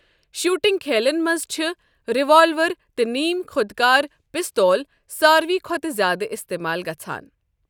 Shooting کھیلن منٛز چھ ریوالور تہٕ نیم خۄدکار پِستول ساروِے کھۄتہٕ زِیٛادٕ اِستعمال گژھان۔